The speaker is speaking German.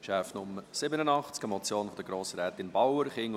Geschäft Nummer 87, eine Motion von Grossrätin Bauer: